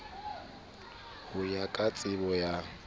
ho ya ka tsebo ya